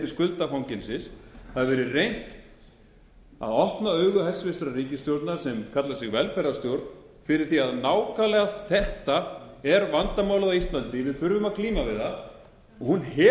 skuldafangelsis það hefur verið reynt að opna augu hæstvirtrar ríkisstjórnar sem kallar sig velferðarstjórn fyrir því að nákvæmlega þetta er vandamálið á íslandi við þurfum að glíma við það og hún hefur ekki opnað